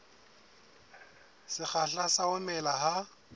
sekgahla sa ho mela ha